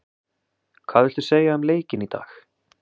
Hvað viltu segja um leikinn í dag?